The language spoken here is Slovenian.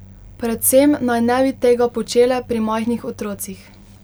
Predvsem naj ne bi tega počele pri majhnih otrocih.